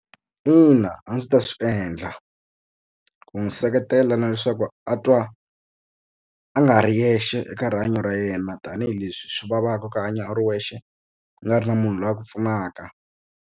Ina a ndzi ta swi endla ku n'wi seketela na leswaku a twa a nga ri yexe eka rihanyo ra yena tanihileswi swi vavaka ku hanya u ri wexe u nga ri na munhu loyi ku pfunaka.